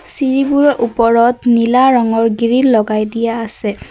চিৰিবোৰৰ ওপৰত নীলা ৰঙৰ গ্ৰিল লগাই দিয়া আছে।